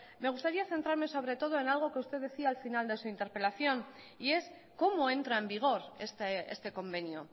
me gustaría centrarme sobre todo en algo que usted decía al final de su interpelación y es cómo entra en vigor este convenio